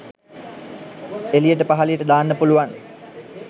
එලියට පහලියට දාන්න පුලුවන්